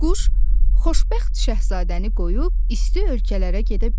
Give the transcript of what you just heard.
Quş xoşbəxt Şahzadəni qoyub isti ölkələrə gedə bilmir.